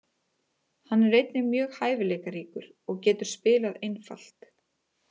Hann er einnig mjög hæfileikaríkur og getur spilað einfalt.